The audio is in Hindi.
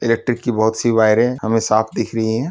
इलेक्ट्रिक की बहुत सी वायरें है। हमें साफ दिख रही है।